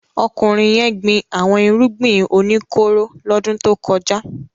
Ọkùnrin yẹn gbin àwọn irúgbìn o ní kóró lọ́dún tó kọjá.